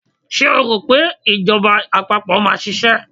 Ṣé o rò pé ìjọba àpapọ̀ máa ṣiṣẹ́?